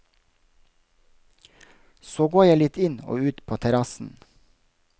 Så går jeg litt inn og ut på terrassen.